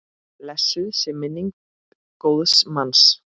Blessuð sé minning góðs manns.